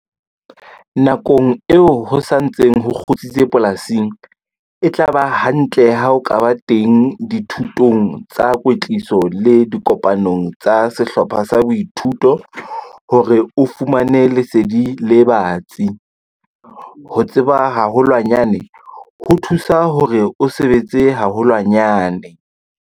Nakong eo ho sa ntseng ho kgutsitse polasing, e tla ba hantle ha o ka ba teng dithutong tsa kwetliso le dikopanong tsa sehlopha sa boithuto hore o fumane lesedi le batsi - ho tseba haholwanyane ho thusa hore o sebetse haholwanyane!